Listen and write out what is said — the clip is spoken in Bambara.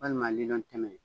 Walima lilɔntɛmɛ